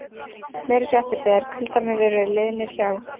Meiri fréttir þegar kuldarnir eru liðnir hjá.